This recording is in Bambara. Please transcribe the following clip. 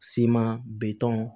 Siman bitɔn